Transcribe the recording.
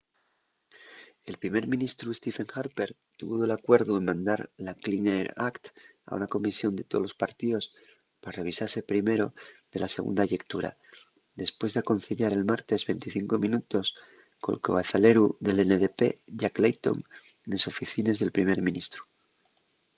el primer ministru stephen harper tuvo d’alcuerdu en mandar la clean air act” a una comisión de tolos partíos pa revisase primero de la segunda llectura depués d’aconceyar el martes 25 minutos col cabezaleru del ndp jack layton nes oficines del primer ministru